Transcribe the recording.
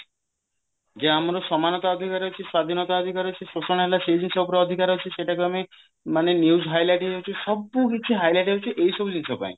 ଯୋଉ ଆମର ସମାନତା ଅଧିକାର ଅଛି ସ୍ଵାଧୀନତା ଅଧିକାର ଅଛି ଶୋଷଣ ହେଲା ସେଇ ଜିନିଷ ଉପରେ ଅଧିକାର ଅଛି ସେଟାକୁ ଆମେ ମାନେ news highlight ହେଇଯାଉଛି ସବୁକିଛି highlight ହଉଛି ଏଇ ସବୁ ଜିନିଷ ପାଇଁ